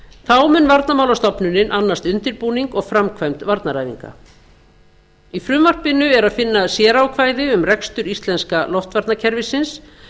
þá mun varnarmálastofnunin annast undirbúning og framkvæmd varnaræfinga í frumvarpinu er að finna sérákvæði um rekstur íslenska loftvarnakerfisins